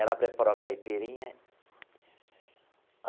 Ela preparou a caipirinha.